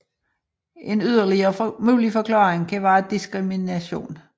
En yderligere mulig forklaring kan være diskrimination